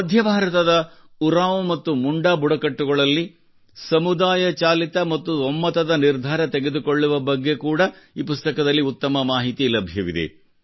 ಮಧ್ಯ ಭಾರತದ ಉರಾಂವ್ ಮತ್ತು ಮುಂಡಾ ಬುಡಕಟ್ಟುಗಳಲ್ಲಿ ಸಮುದಾಯ ಚಾಲಿತ ಮತ್ತು ಒಮ್ಮತದ ನಿರ್ಧಾರ ತೆಗೆದುಕೊಳ್ಳುವ ಬಗ್ಗೆ ಕೂಡಾ ಈ ಪುಸ್ತಕದಲ್ಲಿ ಉತ್ತಮ ಮಾಹಿತಿ ಲಭ್ಯವಿದೆ